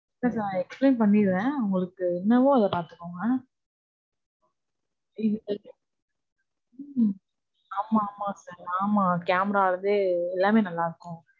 Sir நான் explain பண்ணிறேன். உங்களுக்கு என்னவோ அத பாத்துக்கோங்க. உம் ஆமா, ஆமா sir ஆமா Camera ல இருந்தே எல்லாமே நல்லா இருக்கும்.